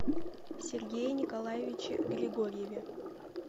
сергее николаевиче григорьеве